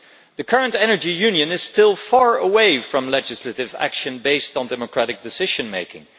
The current Energy Union is still far away from legislative action based on democratic decision making.